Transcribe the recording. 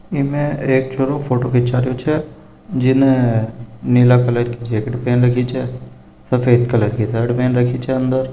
इमे एक छोरो फोटो खीचा रहो छे जेने नीले कलर की जैकेट पेन रखी छे और सफ़ेद कलर की शर्ट पहन रखी छे अन्दर --